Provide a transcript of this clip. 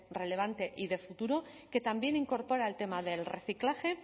relevante y de futuro que también incorpora el tema del reciclaje